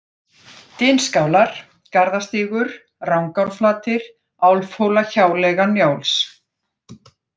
Dynskálar, Garðastígur, Rangárflatir, Álfhólahjáleiga Njáls